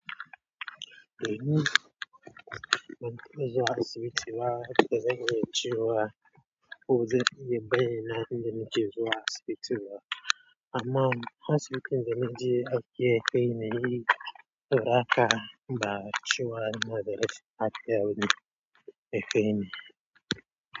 Eh, mun zua asibiti ba, bazai ziyaciwa ko zai yi banina inda muke zuwa asibiti ba. Amma asibitin da na je akeya kai na yi raka ba a ciwa na da datti a keya wani akeya ne.